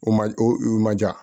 O ma o ma ja